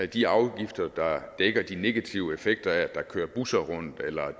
de afgifter der dækker de negative effekter af der kører busser